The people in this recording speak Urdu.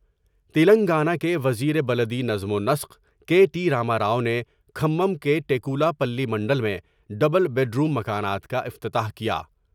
تلنگانہ کے وزیر بلدی نظم و نسق کے ٹی راماؤ نے کھمم کے نیکولا پلی منڈل میں ڈبل بیڈروم مکانات کا افتتاح کیا ۔